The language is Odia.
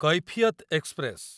କୈଫିୟତ ଏକ୍ସପ୍ରେସ